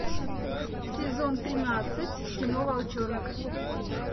сезон тринадцать кино волчонок